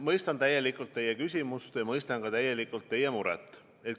Ma mõistan täielikult teie küsimust ja mõistan täielikult ka teie muret.